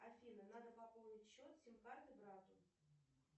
афина надо пополнить счет сим карты брату